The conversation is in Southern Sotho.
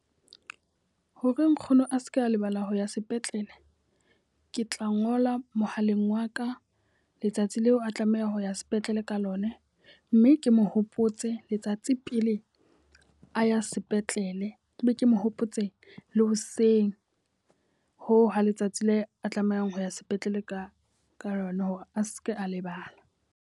Hore nkgono a seke a lebala ho ya sepetlele, ke tla ngola mohaleng wa ka letsatsi leo a tlameha ho ya sepetlele ka lona. Mme ke mo hopotse letsatsi tse pele a ya sepetlele, ke be ke mo hopotse le hoseng hoo ha letsatsi le a tlamehang ho ya sepetlele ka ka yona hore a seke a lebala.